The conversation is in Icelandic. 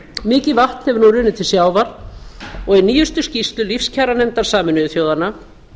mikið vatn hefur nú runnið til sjávar og í nýjustu skýrslu lífskjaranefndar sameinuðu þjóðanna